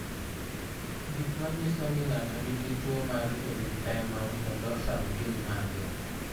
Gik manyiso ni ng'ato nigi tuwo mar erythema nodosum gin mage?